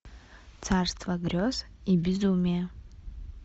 царство грез и безумия